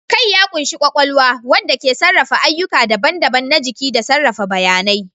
Kai ya ƙunshi kwakwalwa, wanda ke sarrafa ayyuka daban-daban na jiki da sarrafa bayanai.